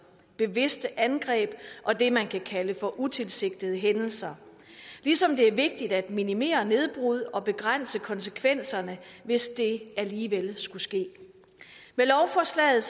bevidste angreb og det man kan kalde for utilsigtede hændelser ligesom det er vigtigt at minimere nedbrud og begrænse konsekvenserne hvis det alligevel skulle ske med lovforslaget